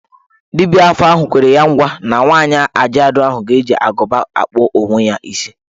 Dibia afa ahụ kwere ya ngwa na nwaanyị ajaadu ahụ ga-eji agụba kpụọ onwe ya isi.